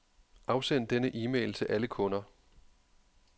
Afsend denne e-mail til alle kunder.